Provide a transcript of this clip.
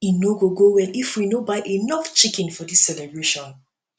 e no go go well if we no buy enough chicken for dis celebration